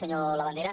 senyor labandera